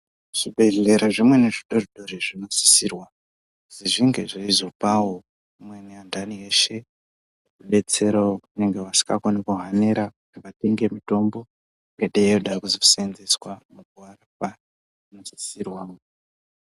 Zvibhehlera zvimweni zvidoridori zvinosisirwa kuti zvinge zveizopawo amweni anhani eshe rudetsero rwavanenge vasingakoni kuhanira zvakaite semitombo inonga yeide kuzoarapa.